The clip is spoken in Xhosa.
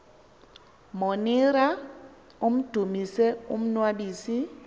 monira amdumise umnnwabisi